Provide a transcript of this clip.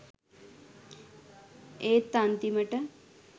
ඒත් අන්තිමට